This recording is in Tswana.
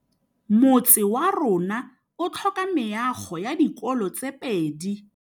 Motse warona o tlhoka meago ya dikolô tse pedi.